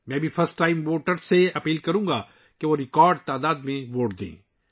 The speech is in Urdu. میں پہلی بار ووٹروں سے بھی درخواست کروں گا کہ وہ ریکارڈ تعداد میں ووٹ دیں